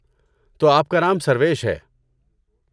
تو آپ کا نام سرویش ہے۔